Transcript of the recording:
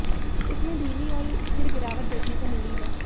इसमें धीमी और स्थिर गिरावट देखने को मिली है